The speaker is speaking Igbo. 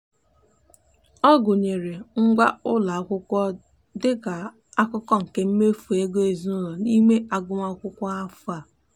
ọ gụnyere ngwa ụlọakwụkwọ dị ka akụkụ nke mmefu ego ezinụụlọ n'ime agụmakwụkwọ afọ a.